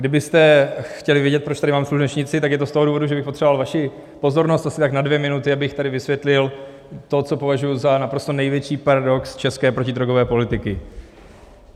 Kdybyste chtěli vědět, proč tady mám slunečnici, tak je to z toho důvodu, že bych potřeboval vaši pozornost asi tak na dvě minuty, abych tady vysvětlil to, co považuji za naprosto největší paradox české protidrogové politiky.